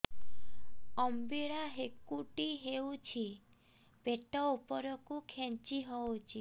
ଅମ୍ବିଳା ହେକୁଟୀ ହେଉଛି ପେଟ ଉପରକୁ ଖେଞ୍ଚି ହଉଚି